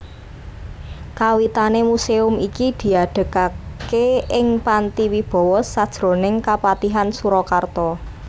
Kawitané muséum iki diadegaké ing Panti Wibawa sajroning Kapatihan Surakarta